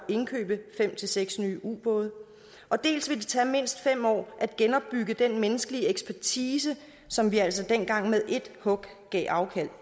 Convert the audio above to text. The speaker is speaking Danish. at indkøbe fem seks nye ubåde dels ville det tage mindst fem år at genopbygge den menneskelige ekspertise som vi altså dengang med ét hug gav afkald